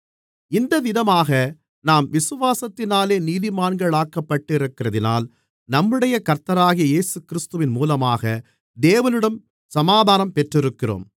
இந்தவிதமாக நாம் விசுவாசத்தினாலே நீதிமான்களாக்கப்பட்டிருக்கிறதினால் நம்முடைய கர்த்தராகிய இயேசுகிறிஸ்துவின் மூலமாக தேவனிடம் சமாதானம் பெற்றிருக்கிறோம்